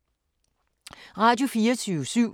Radio24syv